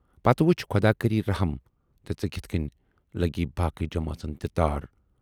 پَتہٕ وُچھ خۅدا کری رٔحم تہٕ ژے کِتھٕ کٔنۍ لگی باقٕے جمٲژن تہِ تار۔